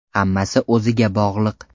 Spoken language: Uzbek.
Hammasi o‘ziga bog‘liq.